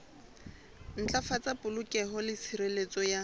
ntlafatsa polokeho le tshireletso ya